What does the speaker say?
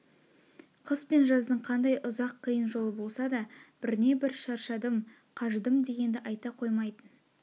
қыс пен жаздың қандай ұзақ қиын жолы болса да бірне бір шаршадым қажыдым дегенді айта қоймайтын